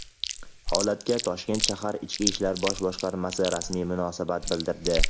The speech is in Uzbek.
Holatga Toshkent shahar Ichki ishlar bosh boshqarmasi rasmiy munosabat bildirdi.